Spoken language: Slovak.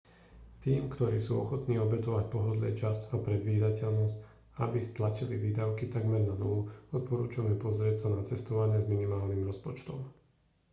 tým ktorí sú ochotní obetovať pohodlie čas a predvídateľnosť aby stlačili výdavky takmer na nulu odporúčame pozrieť sa na cestovanie s minimálnym rozpočtom